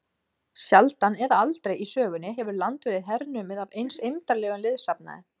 Sjaldan eða aldrei í sögunni hefur land verið hernumið af eins eymdarlegum liðsafnaði.